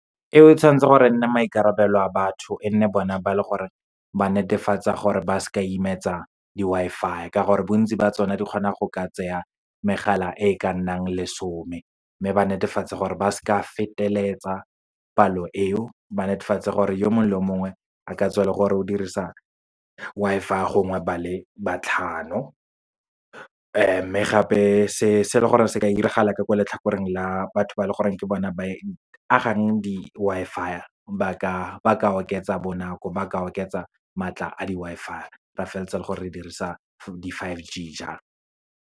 E tshwantse gore e nne maikarabelo a batho, e nne bone ba leng gore ba netefatsa gore ba seka imetsa di-Wi-Fi, ka gore bontsi ba tsona di kgona go ka tseya megala e e ka nnang lesome. Mme ba netefatse gore ba seka feteletsa palo eo, ba netefatse gore o mongwe le o mongwe, a ka tswa e le gore o dirisa Wi-Fi gongwe ba le ba tlhano. Mme gape, se se leng gore se ka diragala ka ko letlhakoreng la batho ba leng gore ke bona ba agang di-Wi-Fi, ba ka oketsa bonako, ba ka oketsa maatla a di-Wi-Fi. Ra feleletsa le gore re dirisa di-five G jalo.